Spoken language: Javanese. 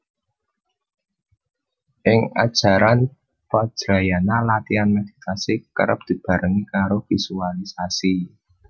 Ing ajaran Vajrayana latihan meditasi kerep dibarengi karo visualisasi